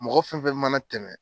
Mɔgɔ fɛn fɛn mana tɛmɛ.